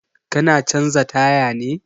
Ka na canza taya ne?